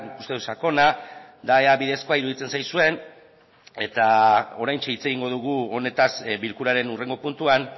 uste dut sakona da ea bidezkoa iruditzen zaizuen eta oraintxe hitz egingo dugu honetaz bilkuraren hurrengo puntuan